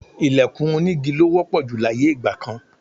Ìlẹ̀kùn onígi ló wọ́pọ̀ jù láyé ìgbà kan